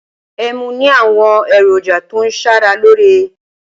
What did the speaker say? Ẹmu ní àwọn èròjà tó ń ṣara lóore.